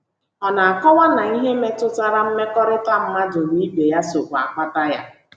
Ọ na - akọwa na ihe ndị metụtara mmekọrịta mmadụ na ibe ya sokwa akpata ya.